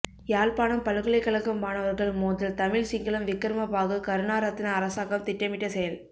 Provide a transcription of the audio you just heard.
யாழ்ப்பாணம் பல்கலைக்கழகம் மாணவர்கள் மோதல் தமிழ் சிங்களம் விக்ரமபாகு கருணாரத்ன அரசாங்கம் திட்டமிட்டசெயல்